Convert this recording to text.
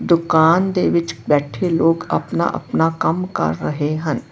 ਦੁਕਾਨ ਦੇ ਵਿੱਚ ਬੈਠੇ ਲੋਕ ਆਪਣਾ-ਆਪਣਾ ਕੰਮ ਕਰ ਰਹੇ ਹਨ।